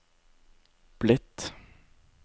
blitt